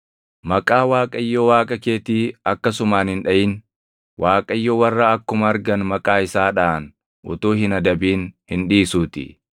Maqaa Waaqayyo Waaqa keetii akkasumaan hin dhaʼin; Waaqayyo warra akkuma argan maqaa isaa dhaʼan utuu hin adabin hin dhiisuutii.